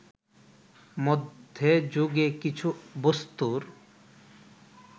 মধ্যে যুগে কিছু বস্তুর